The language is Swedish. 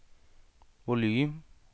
volym